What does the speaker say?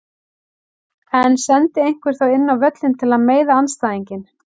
En sendi einhver þá inn á völlinn til að meiða andstæðinginn?